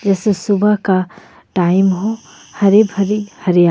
जैसे सुबह का टाइम हो हरे-भरी हरिया--